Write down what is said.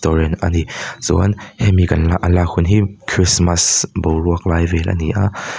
restaurant a ni chuan hemi kan la a lak hun hi krismas boruak lai vel a ni a.